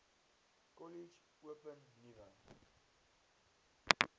kollege open nuwe